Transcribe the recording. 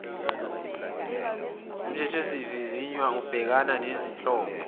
mthethisivivinywa ubhekana nezinhlobo